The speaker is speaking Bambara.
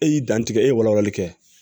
E y'i dantigɛ e ye walawalali kɛ